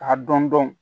A dɔn dɔn